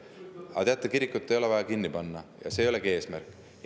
Aga teate, kirikut ei ole vaja kinni panna ja see ei olegi eesmärk.